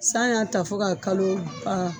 San y'a ta fɔ ka kalo ban.